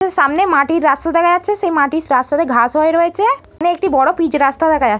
সামনে মাটির রাস্তা দেখা যাচ্ছে। সে মাটির রাস্তাতে ঘাস হয়ে রয়েছে। এখানে একটি বড়ো পিচ রাস্তা দেখা যা--